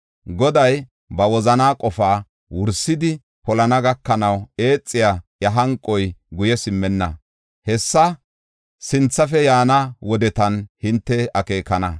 Goday ba wozanaa qofaa wursidi polana gakanaw eexiya iya hanqoy guye simmenna. Hessa sinthafe yaana wodetan hinte akeekana.